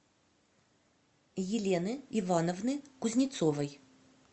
елены ивановны кузнецовой